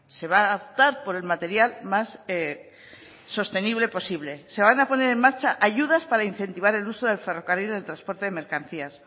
se va a optar por el material más sostenible posible se van a poner en marcha ayudas para incentivar el uso del ferrocarril del transporte de mercancías